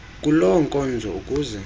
kuloo nkonzo ukuze